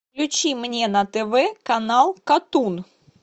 включи мне на тв канал катун